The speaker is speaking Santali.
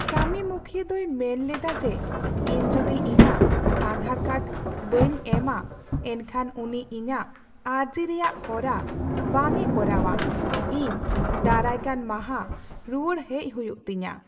ᱠᱟᱹᱢᱤᱢᱩᱠᱷᱤᱭᱟᱹ ᱫᱚᱭ ᱢᱮᱱ ᱞᱮᱫᱟ ᱡᱮ, ᱤᱧ ᱡᱩᱫᱤ ᱤᱧᱟᱹᱜ ᱟᱫᱷᱟᱨ ᱠᱟᱨᱰ ᱵᱟᱹᱧ ᱮᱢᱼᱟ, ᱮᱱᱠᱷᱟᱱ ᱩᱱᱤ ᱤᱧᱟᱹᱜ ᱟᱨᱡᱤ ᱨᱮᱭᱟᱜ ᱦᱚᱨᱟ ᱵᱟᱝᱮ ᱠᱚᱨᱟᱣᱼᱟ ᱾ ᱤᱧ ᱫᱟᱨᱟᱭᱠᱟᱱ ᱢᱟᱦᱟ ᱨᱩᱣᱟᱹᱲ ᱦᱮᱡ ᱦᱩᱭᱩᱜ ᱛᱤᱧᱟ ᱾